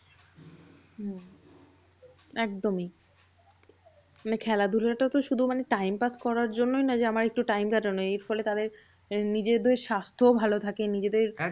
হম একদমই মানে খেলাধুলাটা তো শুধু time pass করার জন্য নয়। যে আমার একটু time কাটানো। এরফলে তাদের নিজেদের স্বাস্থ ভালো থাকে। নিজেদের